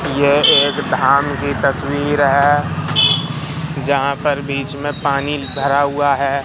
यह एक धाम की तस्वीर है जहां पर बीच में पानी भरा हुआ है।